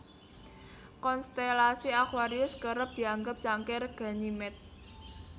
Konstelasi aquarius kerep dianggep cangkir Ganymede